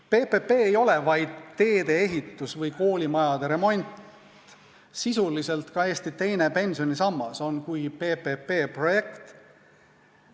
PPP ei ole vaid teede ehitus või koolimajade remont, sisuliselt on ka Eesti teine pensionisammas PPP-projekt.